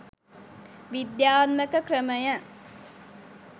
විද්‍යාත්මක ක්‍රමය